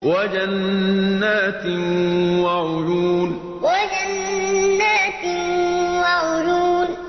وَجَنَّاتٍ وَعُيُونٍ وَجَنَّاتٍ وَعُيُونٍ